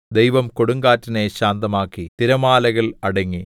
ദൈവം കൊടുങ്കാറ്റിനെ ശാന്തമാക്കി തിരമാലകൾ അടങ്ങി